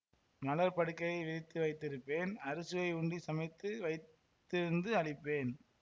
மலர்ப் படுக்கை விரித்து வைத்திருப்பேன் அறுசுவை உண்டி சமைத்து வைத்திருந்து அளிப்பேன்